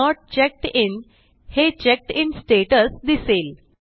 note checked in हे checked in status दिसेल